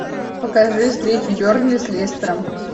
покажи встречу бернли с лестером